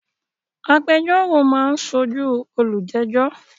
Agbẹjọ́rò máa ń sójúu olùjẹ́jọ́